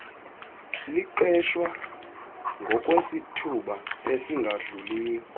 liqeshwa ngokwesithuba esingadluliyo